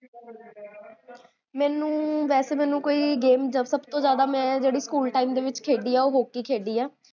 ਮੇਨੂ, ਵੇਸੇ ਮੇਨੂ ਕੋਈ ਗੇਮ, ਸਬ ਤੋ ਜਾਦਾ ਮੈਂ, ਜੇਹੜੀ ਸਕੂਲ time ਦੇ ਵਿੱਚ ਖੇਡੀ ਆ ਓਹ ਹੋਕਕੀ ਖੇਡੀ ਆ